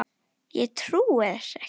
Ég trúi þessu ekki